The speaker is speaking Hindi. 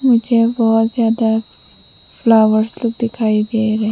मुझे बहुत ज्यादा फ्लॉवर्स तो दिखाई दे रहे --